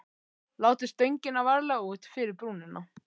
Látið stöngina varlega út fyrir brúnina.